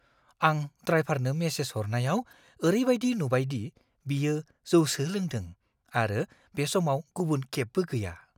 आं ड्राइभारनो मेसेज हरनायाव ओरैबायदि नुबाय दि बियो जौसो लोंदों आरो बे समाव गुबुन केबबो गैया।